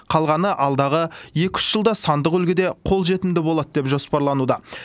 қалғаны алдағы екі үш жылда сандық үлгіде қолжетімді болады деп жоспарлануда